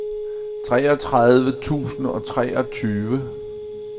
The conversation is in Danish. treogtredive tusind og treogtyve